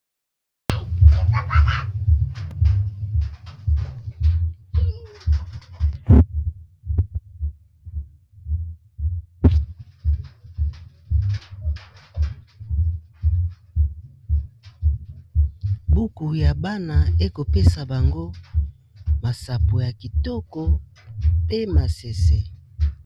Buku ya bana ekopesa bango masapo ya kitoko pe masese.